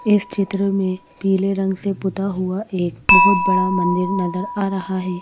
इस चित्र में पीले रंग से पुता हुआ एक बहुत बड़ा मंदिर नजर आ रहा हैं।